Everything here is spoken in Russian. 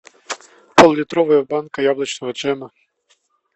пол литровая банка яблочного джема